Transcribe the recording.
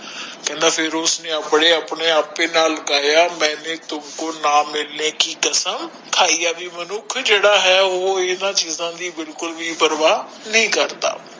ਕਹਿੰਦਾ ਫੇਰ ਉਸਨੇ ਆਪੇ ਆਪਣੇ ਨਾਲ ਲਾਯਾ ਕਹਿੰਦਾ ਵੀ ਮੇਨੂ ਤੁਮਕੋ ਨਾ ਮਿਲਨੇ ਕਿ ਕਸਮ ਖਾਇ ਵੀ ਮਨੁੱਖ ਜਿਹੜਾ ਹੈ ਉਹ ਕਿਸੇ ਦੀ ਬਿਲਕੁਲ ਵੀ ਪ੍ਰਵਾਹ ਨਹੀਂ ਕਰਦਾ